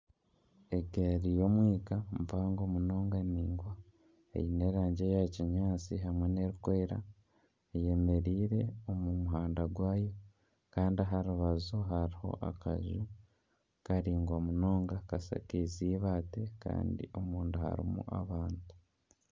Egaari y'omwika mpango ningwa eine erangi ya kinyaatsi hamwe n'erikwera eyemereire omu muhanda gwayo kandi aharubaju hariho akaju karingwa munonga kashakiize ibaati kandi omunda harimu abantu.